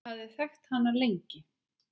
Ég hafði þekkt hana lengi.